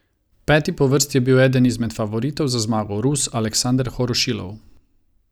Peti po vrsti je bil eden izmed favoritov za zmago, Rus Aleksander Horošilov.